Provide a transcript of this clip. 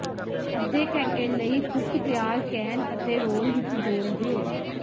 ਅੱਧੇ ਘੰਟੇ ਲਈ ਕੁੱਕ ਤਿਆਰ ਕੈਨ ਅਤੇ ਰੋਲ ਵਿੱਚ ਡੋਲ੍ਹ ਦਿਓ